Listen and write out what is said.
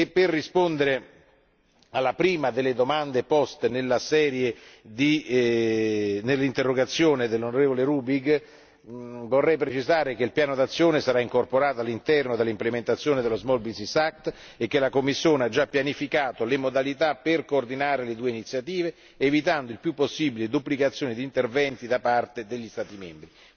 Per rispondere alla prima delle domande poste nell'interrogazione dell'onorevole Rübig, vorrei precisare che il piano d'azione sarà incorporato all'interno dell'implementazione dello Small business act e che la Commissione ha già pianificato le modalità per coordinare le due iniziative, evitando il più possibile duplicazioni di interventi da parte degli Stati membri.